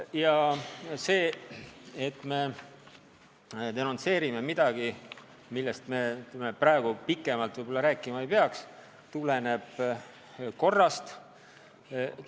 Ja see, et me denonsseerime midagi, millest me praegu pikemalt võib-olla rääkima ei peaks, tuleneb korrast.